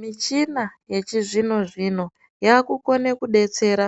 Muchina yechizvino zvino yakukona kudetsera